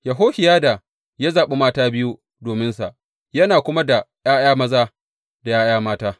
Yehohiyada ya zaɓi mata biyu dominsa, yana kuma da ’ya’ya maza da ’ya’ya mata.